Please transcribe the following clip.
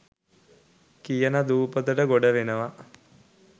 කියන දූපතට ගොඩ වෙනවා.